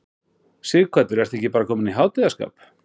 Sighvatur, ertu ekki bara kominn í hátíðarskap?